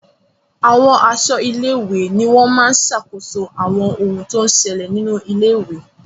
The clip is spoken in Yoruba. Àwọn aṣọ́ ilé-ìwé ni wọ́n máa ń sàkóso àwọn ohun tó ń ṣẹlẹ̀ nínú ilé-ìwé.